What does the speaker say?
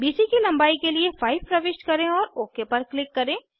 BC की लंबाई के लिए 5 प्रविष्ट करें और ओक पर क्लिक करें